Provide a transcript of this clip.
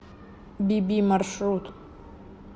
би би маршрут